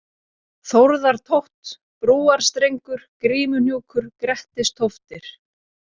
Þórðartótt, Brúarstrengur, Grímuhnjúkur, Grettistóftir